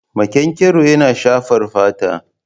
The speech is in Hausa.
Makenkero yana shafar fata.